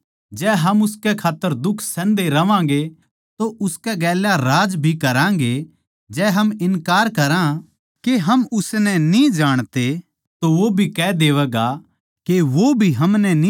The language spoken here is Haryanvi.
जै हम उसकै खात्तर दुख सहन्दे रहवांगें तो उसकै गेल्या राज भी करागें जै हम इन्कार करां के हम उसनै न्ही जाणते तो वो भी कह देवैगा के वो भी हमनै न्ही जाणता